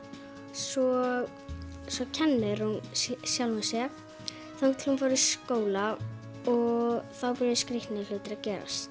svo svo kennir hún sjálfri sér þangað til hún fer í skóla og þá byrja skrítnir hlutir að gerast